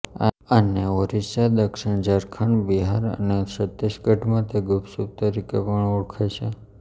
આને ઓરિસ્સા દક્ષિણ ઝારખંડ બિહાર અને છત્તીસગઢમાં તે ગુપચુપ તરીકે પણ ઓળખાય છે